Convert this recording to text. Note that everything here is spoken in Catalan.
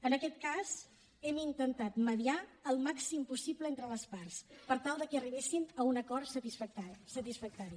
en aquest cas hem intentat mediar al màxim possible entre les parts per tal que arribessin a un acord satisfactori